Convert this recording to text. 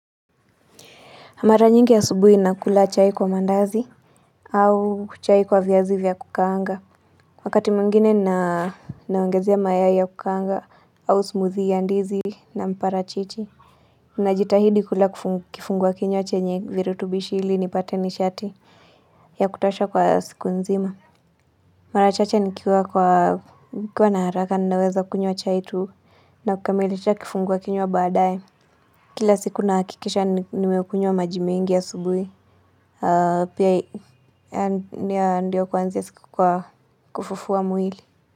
Mara nyingi asubuhi nakula chai kwa mandazi au chai kwa vyazi vya kukaanga Wakati mwingine naongezea mayai ya kukaanga au smoothie ya ndizi na mparachichi Najitahidi kula kifungua kinywa chenye virutubishi hili nipate nishati ya kutosha kwa siku nzima Mara chache nikiwa na haraka ninaweza kunywa chai tu na kukamilisha kifungua kinywa baadae Kila siku nahakikisha nimekunywa maji mingi asubuhi Ndio kuanzia siku kwa Kufufua mwili.